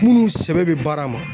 Munnu sɛbɛ bɛ baara ma.